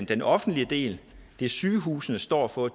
den offentlige del det sygehusene står for